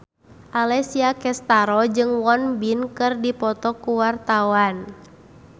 Alessia Cestaro jeung Won Bin keur dipoto ku wartawan